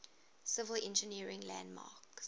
civil engineering landmarks